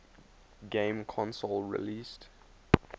game console released